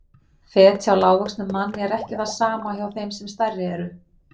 Fet hjá lágvöxnum manni er ekki það sama og hjá þeim sem stærri eru.